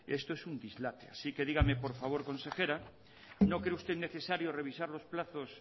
esto es un dislate así que dígame por favor consejera no cree usted necesario revisar los plazos